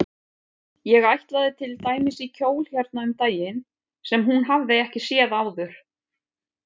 Ég ætlaði til dæmis í kjól hérna um daginn sem hún hafði ekki séð áður.